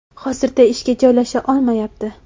Hozirda ishga joylasha olmayapti.